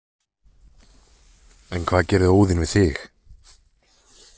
En hvað gerði Óðinn við þig?